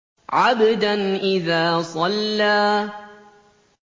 عَبْدًا إِذَا صَلَّىٰ